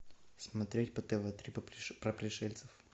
смотреть по тв три про пришельцев